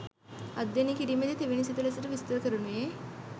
අධ්‍යනය කිරීමේදී තෙවැනි සිත ලෙසට විස්තර කරනුයේ